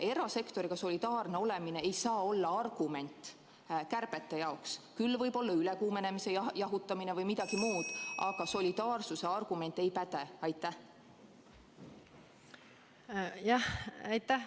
Erasektoriga solidaarne olemine ei saa olla argument kärbete tegemiseks, küll võib seda olla ülekuumenemise jahutamine või midagi muud, aga solidaarsuse argument ei päde.